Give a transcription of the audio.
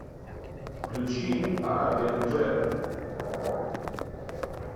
включи арабиан трэп